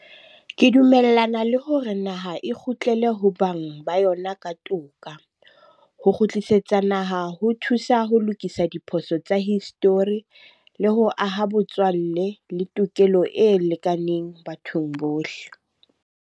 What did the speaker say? Ke dumellana le hore naha e kgutlele ho bang ba yona ka toka. Ho kgutlisetsa naha ho thusa ho lokisa diphoso tsa history le ho aha botswalle le tokelo e lekaneng bathong bohle.